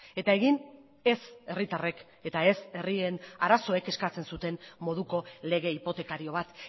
eta egin ez herritarrek eta ez herrien arazoek eskatzen zuten moduko lege hipotekario bat